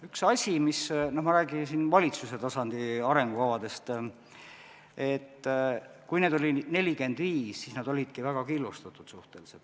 Üks asi on see, et kui valitsuse tasandi arengukavasid oli 45, siis nad olidki väga killustatud.